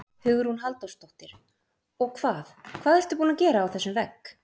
Hugrún Halldórsdóttir: Og hvað, hvað ertu búin að gera á þessum vegg?